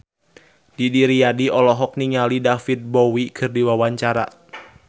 Didi Riyadi olohok ningali David Bowie keur diwawancara